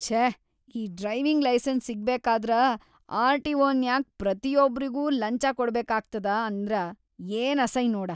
ಛೇ ಈ driving licence ಸಿಗ್ಬೇಕಾದ್ರ ಆರ್.ಟಿ.ಒ.ನ್ಯಾಗ್ ಪ್ರತಿಯೊಬ್ರಿಗೂ ಲಂಚಾ ಕೊಡಬೇಕಾಗ್ತದ ಅಂದ್ರ ಏನ್‌ ಅಸೈ ನೋಡ.